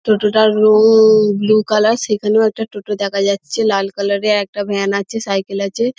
টোটোটার রং blue colour সেখানে একটা টোটো দেখা যাচ্ছে। লাল কালার -এর একটা ভ্যান আছে সাইকেল আছে ।